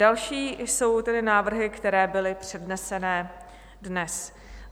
Další jsou tedy návrhy, které byly předneseny dnes.